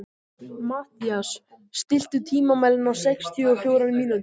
Mathías, stilltu tímamælinn á sextíu og fjórar mínútur.